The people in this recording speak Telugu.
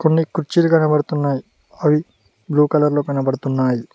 కొన్ని కుర్చీలు కనబడుతున్నాయి అవి బ్లూ కలర్ లో కనబడుతున్నాయి